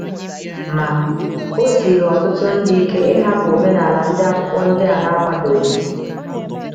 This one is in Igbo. Ma, o siiri ọtụtụ ndị ike ịhapụ omenala ndị Akwụkwọ ndi a na - akwadoghị.